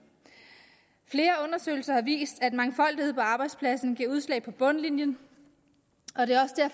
flere undersøgelser har vist at mangfoldighed på arbejdspladsen giver udslag på bundlinjen